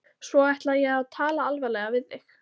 Svo ætla ég að tala alvarlega við þig.